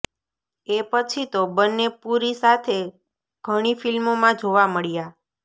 એ પછી તો બંને પુરી સાથે ઘણી ફિલ્મોમાં જોવા મળ્યા